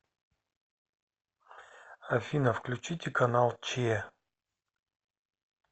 афина включите канал че